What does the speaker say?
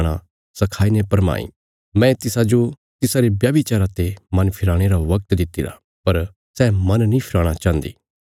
मैं तिसाजो तिसारे व्यभिचारा ते मन फिराणे रा वगत दित्तिरा पर सै मन नीं फिराणा चाहन्दी